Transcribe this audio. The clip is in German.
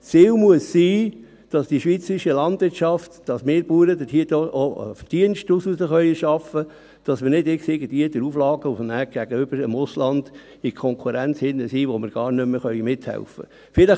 Das Ziel muss sein, dass die schweizerische Landwirtschaft, dass wir Bauern daraus auch einen Verdienst erschaffen können, dass wir nachher nicht irgendwie durch Auflagen gegenüber dem Ausland in einer Konkurrenz sind, in der wir gar nicht mehr mithelfen können.